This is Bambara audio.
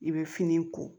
I bɛ fini ko